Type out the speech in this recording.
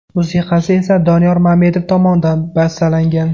Musiqasi esa Doniyor Mamedov tomonidan bastalangan.